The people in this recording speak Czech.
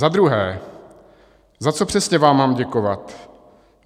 Za druhé, za co přesně vám mám děkovat?